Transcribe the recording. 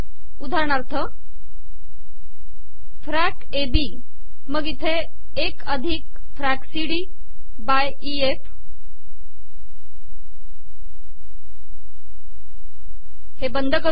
उदाहरणाथर एक अिधक फॅक एबी मग इथे फॅक सीडी बाय ए एफ हे बंद कर